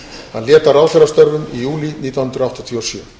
hann lét af ráðherrastörfum í júlí nítján hundruð áttatíu og sjö